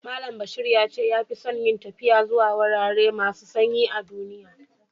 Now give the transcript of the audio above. Mallam Bashir ya ce ya fi son yin taffiya zuwa wurare masu sanyi a'dunniya.